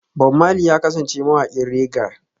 Bob Marley ya kasance mawaƙin reggae